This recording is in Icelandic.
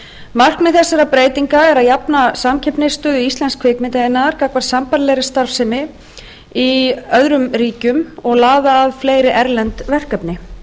markmið þessara breytinga er að jafna samkeppnisstöðu íslensks kvikmyndaiðnaðar gagnvart sambærilegri starfsemi í öðrum ríkjum og laða að fleiri erlend verkefni